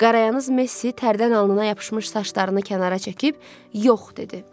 Qarayanyaz Messi tərdən alnına yapışmış saçlarını kənara çəkib, yox dedi.